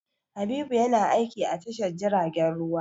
Habibu yana aiki a tashar jiragen ruwa.